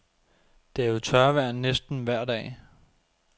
Det er jo tørvejr næsten vejr dag.